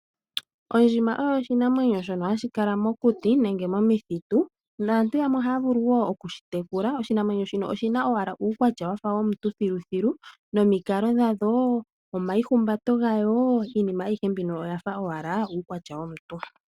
Ondjima oyo oshinamwenyo shono hashi kala mokuti, nenge momithitu, naantu yamwe ohaya vulu woo oku shi tekula. Oshinamwenyo shino oshina owala uukwatya wafa womuntu thiluthilu nomikalo dhasho, omaihumbato gayo, iinima ayihe mbino oyafa owala uukwatya womuntu.